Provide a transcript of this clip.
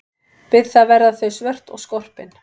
Við það verða þau svört og skorpin.